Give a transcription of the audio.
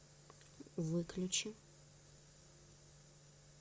выключи